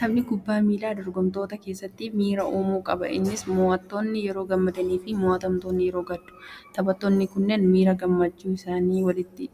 Taphni kubbaa miilaa dorgomtoota keessatti miira uumu qaba. Innis moo'attoonni yeroo gammadani, moo'amtoonni immoo ni gaddu. Taphattoonni kunneen miira gammachuu isaanii walitti